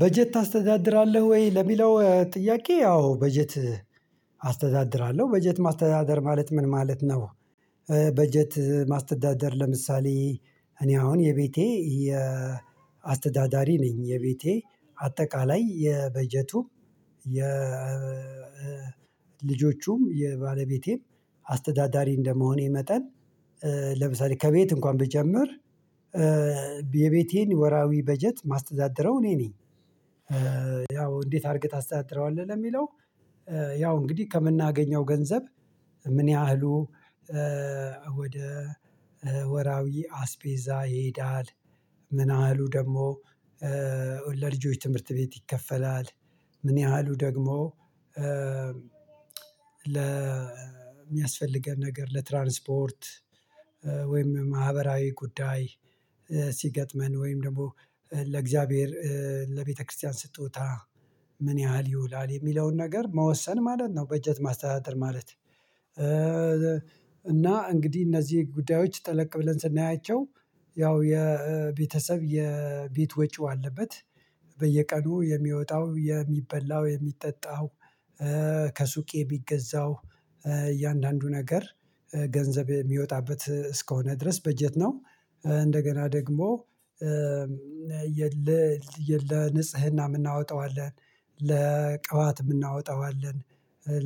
በጀት ታስተዳድራለህ ወይ ለሚለው ጥያቄ ያው በጀት አስተዳድራለሁ በጀት ማስተዳደር ማለት ምን ማለት ነው? በጀት ማስተዳደር ለምሳሌ እኔ አሁን የቤቴ አስተዳዳሪ ነኝ። የቤቴ አጠቃላይ የበጀቱ የ ልጆቹም የባለቤቴም አስተዳዳሪ እንደመሆኔ መጠን ለምሳሌ ከቤት እንኳን ብጀምር የቤቴን ወራዊ በጀት ማስተዳድረው እኔ ነኝ። ያው እንዴት አድርገህ ታስተዳድረዋለህ ለሚለው ያው እንግዲህ ከምናገኘው ገንዘብ ምን ያህሉ ወደ ወራዊ አስፔዛ ይሄዳል? ምን ያህሉ ደግሞ ለልጆች ትምህርት ቤት ይከፈላል። ምን ያህሉ ደግሞ ለሚያስፈልገን ነገር ለትራንስፖርት ወይም ማህበራዊ ጉዳይ ሲገጥመን ወይም ደግሞ ለእግዚአብሔር ለቤተክርስቲያን ስጦታ ምን ያህል ይውላል የሚለውን ነገር መወሰን ማለት ነው። በጀት ማስተዳደር ማለት እና እንግዲህ እነዚህ ጉዳዮች ጠለቅ ብለን ስናያቸው ያው የቤተሰብ የቤት ወጪው አለበት። በየቀኑ የሚወጣው የሚበላው የሚጠጣው ከሱቄ ቢገዛው እያንዳንዱ ነገር ገንዘብ የሚወጣበት እስከሆነ ድረስ በጀት ነው። እንደገና ደግሞ የለ ለ ንጽህና የምናወጣው አለ። ለቅባት የምናወጣው አለ።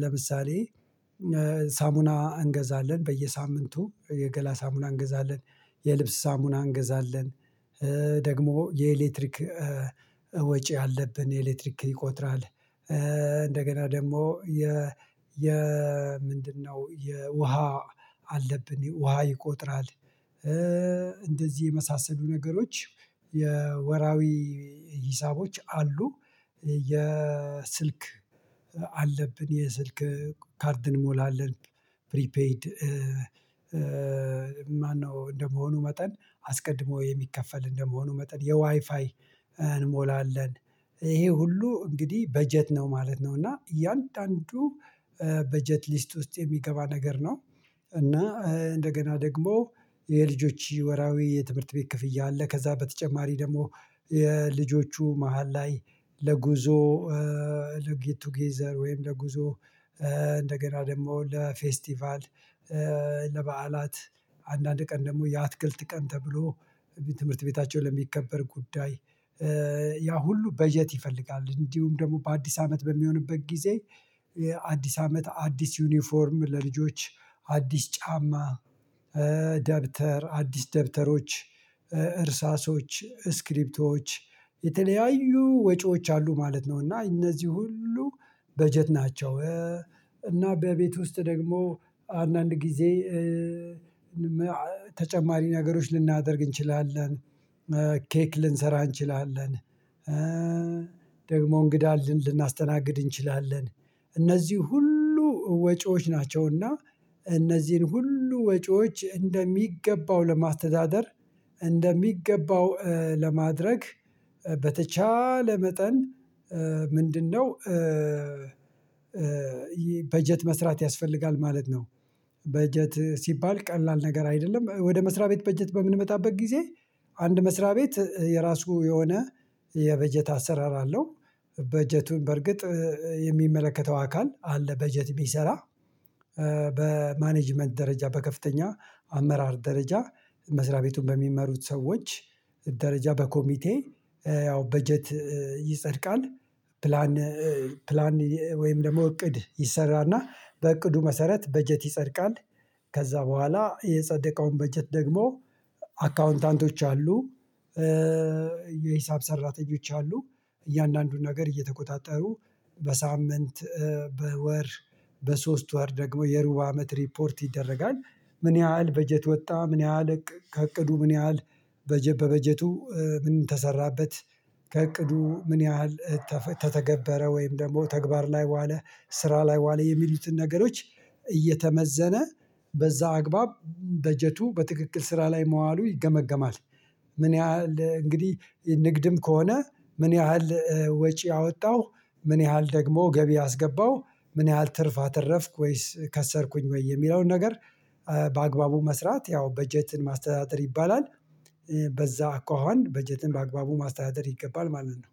ለምሳሌ ሳሙና እንገዛለን በየሳምንቱ የገላ ሳሙና እንገዛለን የልብስ ሳሙና እንገዛለን። ደግሞ የኤሌክትሪክ ወጪ አለብን የኤሌክትሪክ ይቆጥራል። እንደገና ደግሞ የ የ ምንድነው የ ውሃ አለብን ውሃ ይቆጥራል። እንደዚህ የመሳሰሉ ነገሮች የወራዊ ሂሳቦች አሉ። የስልክ አለብን የስልክ ካርድ እንሞላለን። ፕሪፔይድ ማነው እንደመሆኑ መጠን አስቀድሞ የሚከፈል እንደመሆኑ መጠን የዋይፋይ እንሞላለን ይሄ ሁሉ እንግዲህ በጀት ነው ማለት ነው። እና እያንዳንዱ በጀት ሊስት ውስጥ የሚገባ ነገር ነው። እና እንደገና ደግሞ የልጆች ወራዊ የትምህርት ቤት ክፍያ አለ። ከዛ በተጨማሪ ደግሞ የልጆቹ መሃል ላይ ለጉዞ ለጌት ቱገዘር ወይም ለጉዞ እንደገና ደግሞ ለፌስቲቫል ለበዓላት አንዳንድ ቀን ደግሞ የአትክልት ቀን ተብሎ ትምህርት ቤታቸውን ለሚከበር ጉዳይ ያ ሁሉ በጀት ይፈልጋል። እንዲሁም ደግሞ በአዲስ አመት በሚሆንበት ጊዜ አዲስ አመት አዲስ ዩኒፎርም ለልጆች አዲስ ጫማ ደብተር አዲስ ደብተሮች እርሳሶች ስክሪፕቶወች የተለያዩ ወጪዎች አሉ ማለት ነው። እና እነዚህ ሁሉ በጀት ናቸው። እና በቤት ውስጥ ደግሞ አንዳንድ ጊዜ ተጨማሪ ነገሮች ልናደርግ እንችላለን። ኬክ ልንሰራ እንችላለን። ደግሞ እንግዳ ልንል ልናስተናግድ እንችላለን። እነዚህ ሁሉ ወጪዎች ናቸውና እነዚህን ሁሉ ወጪዎች እንደሚገባው ለማስተዳደር እንደሚገባው ለማድረግ በተቻለ መጠን ምንድነው በጀት መስራት ያስፈልጋል ማለት ነው። በጀት ሲባል ቀላል ነገር አይደለም። ወደ መስሪያ ቤት በጀት በምንመጣበት ጊዜ አንድ መስሪያ ቤት የራሱ የሆነ የበጀት አሰራር አለው። በጀቱን በርግጥ የሚመለከተው አካል አለ። በጀት የሚሰራ በማኔጂመንት ደረጃ በከፍተኛ አመራር ደረጃ መስሪያ ቤቱን በሚመሩት ሰዎች ደረጃ በኮሚቴ ያው በጀት ይጸድቃል። ፕላን ፕላን ወይም ደግሞ እቅድ ይሰራልና በእቅዱ መሰረት በጀት ይጸድቃል። ከዛ በኋላ የጸደቀውን በጀት ደግሞ አካውንታንቶች አሉ። የሂሳብ ሰራተኞች አሉ። እያንዳንዱን ነገር እየተቆጣጠሩ በሳምንት በወር በሶስት ወር ደግሞ የሩብ አመት ሪፖርት ይደረጋል። ምን ያህል በጀት ወጣ ምን ያህል ከእቅዱ ምን ያህል በበጀቱ ምን ተሰራበት? ከእቅዱ ምን ያህል ተተገበረ ወይም ደግሞ ተግባር ላይ በዋለ ስራ ላይ በዋለ የሚሉትን ነገሮች እየተመዘነ በዛ አግባብ በጀቱ በትክክል ስራ ላይ መዋሉ ይገመገማል። ምን ያህል እንግዲህ ንግድም ከሆነ ምን ያህል ወጪ አወጣሁ? ምን ያህል ደግሞ ገቢ አስገባሁ? ምን ያህል ትርፍ አተረፍኩ ወይስ ከሰርኩኝ ወይ የሚለውን ነገር። በአግባቡ መስራት ያው በጀትን ማስተዳደር ይባላል። በዛ አኳኋን በጀትን በአግባቡ ማስተዳደር ይገባል ማለት ነው